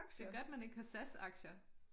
Det godt man ikke har SAS aktier